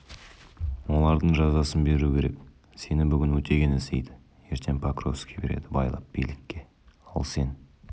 олардың жазасын беру керек сені бүгін өтеген іздейді ертең покровский береді байлап билікке ал сен